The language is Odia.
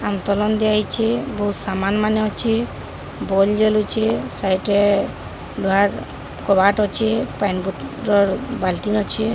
ଆନ୍ତଳନ ଦିଆହେଇଚେ ବୋହୁତ ସାମାନ ମାନେ ଅଛି ବଲ ଜଳୁଚେ ସାଇଟ୍ ରେ ଲୁହାର କବାଟ ଅଛେ ପାନି ବୋତଲ ବାଲ୍ଟି ଅଛେ।